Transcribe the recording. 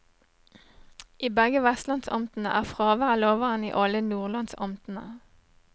I begge vestlandsamtene er fraværet lavere enn i alle nordlandsamtene.